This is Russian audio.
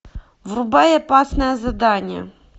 врубай опасное задание